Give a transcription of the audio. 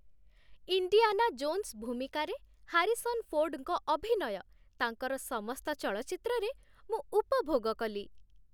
Indiana Jones ଭୂମିକାରେ Harrison ଫୋର୍ଡଙ୍କ ଅଭିନୟ ତାଙ୍କର ସମସ୍ତ ଚଳଚ୍ଚିତ୍ରରେ ମୁଁ ଉପଭୋଗ କଲି।